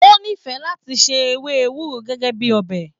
O n'ifẹ láti ṣe ewé ewúro gẹgẹ bíi ọbẹ.